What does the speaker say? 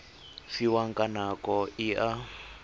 fiwang ka nako e a